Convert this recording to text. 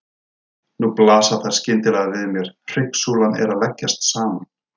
Nú blasa þær skyndilega við mér: Hryggsúlan er að leggjast saman.